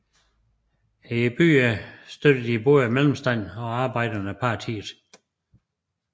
I byerne støttede både mellemstanden og arbejderne partiet